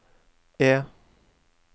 E